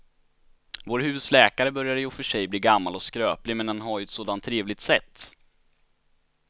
Vår husläkare börjar i och för sig bli gammal och skröplig, men han har ju ett sådant trevligt sätt!